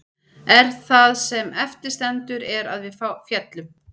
En það sem eftir stendur er að við féllum.